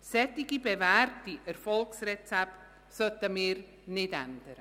Solche bewährten Erfolgsrezepte sollten wir nicht ändern.